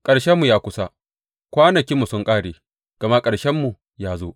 Ƙarshenmu ya kusa, kwanakinmu sun ƙare, gama ƙarshenmu ya zo.